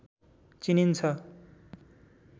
चिनिन्छ